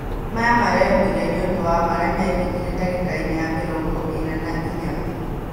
Maya mareyũmĩria nĩũndũ wa marĩa mekĩkire ndagĩka-inĩ ya mĩrongo ĩna na inya